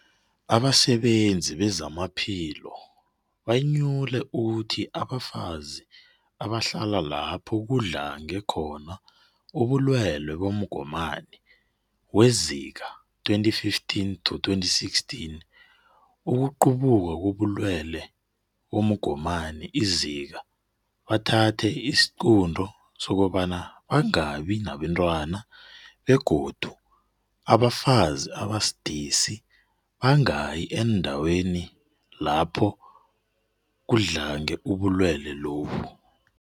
Abasebezi bezamaphilo banyule ukuthi abafazi abahlala lapho kudlange khona ubulwelwe bomgomani weZika2015-16 ukuqubuka kobulwelwe bomgomani iZika bathathe isiqunto sokobana bangabi nabantwana begodu abafazi abasidisi bangayi eendaweni lapaha kudlange ubulwelwe lobu.